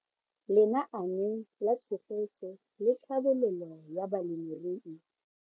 Lenaane la Tshegetso le Tlhabololo ya Balemirui.